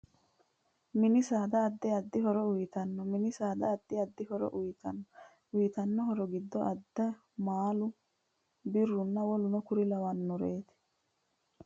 Mini saada addi addi horo uyiitanno mini saada addi addi horo uyiitanno uyiitanno horo giddo addo, maalu biiruna woleno kuri lawanoreeti